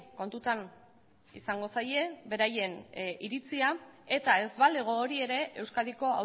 kontutan izango zaie beraien iritzia eta ez balego hori ere euskadiko